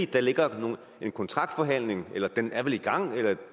der ligger en kontraktforhandling den er vel i gang